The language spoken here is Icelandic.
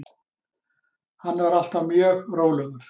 Hann er alltaf mjög rólegur.